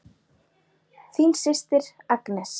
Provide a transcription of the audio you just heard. Þín systir Agnes.